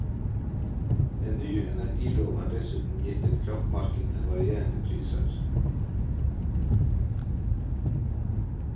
En ny energilov har dessuten gitt et kraftmarked med varierende priser.